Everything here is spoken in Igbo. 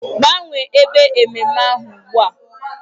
Gbanwee ebe ememme ahụ ugbu a!